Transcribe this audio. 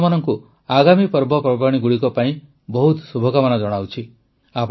ମୁଁ ଆପଣମାନଙ୍କୁ ଆଗାମୀ ପର୍ବପର୍ବାଣୀଗୁଡ଼ିକ ପାଇଁ ବହୁତ ଶୁଭକାମନା ଜଣାଉଛି